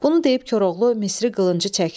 Bunu deyib Koroğlu Misri qılıncı çəkdi.